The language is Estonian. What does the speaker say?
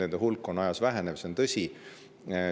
Nende hulk on küll ajas vähenev, see on tõsi.